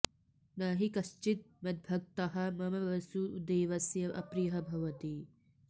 न हि कश्चित् मद्भक्तः मम वासुदेवस्य अप्रियः भवति